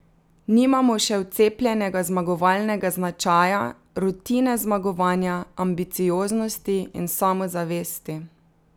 Nimamo še vcepljenega zmagovalnega značaja, rutine zmagovanja, ambicioznosti in samozavesti.